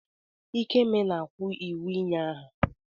Ikeme na-kwu iwu ịnye aha.